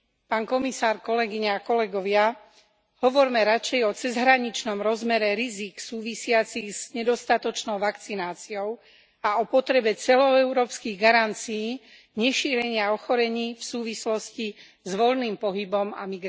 Pán komisár, kolegyne a kolegovia, hovorme radšej o cezhraničnom rozmere rizík súvisiacich s nedostatočnou vakcináciou a o potrebe celoeurópskych garancií nešírenia ochorení v súvislosti s voľným pohybom a